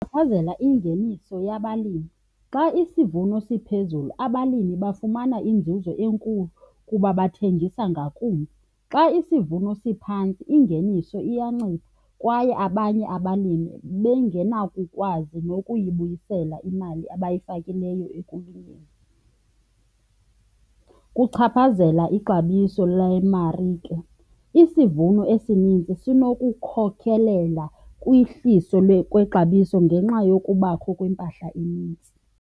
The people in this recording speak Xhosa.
Ichaphazela ingeniso yabalimi. Xa isivuno siphezulu, abalimi bafumana inzuzo enkulu kuba bathengisa ngakumbi. Xa isivuno siphantsi ingeniso iyancipha kwaye abanye abalimi bengenakukukwazi nokuyibuyisela imali abayifakileyo ekulimeni. Kuchaphazela ixabiso lemarike. Isivuno esininzi esinokukhokelela kwihliso kwexabiso ngenxa yokubakho kwempahla enintsi.